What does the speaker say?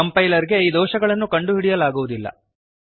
Compilerಗೆ ಈ ದೋಷಗಳನ್ನು ಕಂಡುಹಿಡಿಯಲಾಗುವುದಿಲ್ಲ